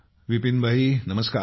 विपिन भाई नमस्कार